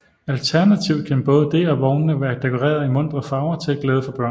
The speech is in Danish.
Alternativt kan både det og vognene være dekoreret i muntre farver til glæde for børnene